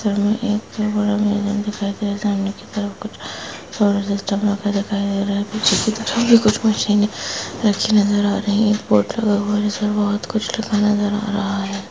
इस चित्र मे एक बहुत बड़ा मैदान दिखाई दे रहा है सामने की तरफ कुछ सोलर सिस्टम लगा दिखाई दे रहा है कुछ मशीने रखी नजर आ रही है एक बोर्ड लगा हुआ है जिस पे बहुत कुछ लिखा नजर आ रहा है।